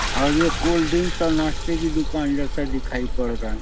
और ये cold drink और नाश्ते की दुकान जैसा दिखाई पड़ रहा हैं।